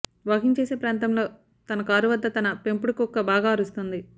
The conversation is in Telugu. వాకింగ్ చేసే ప్రాంతంలో తన కారు వద్ద తన పెంపుడు కుక్క బాగా అరుస్తోంది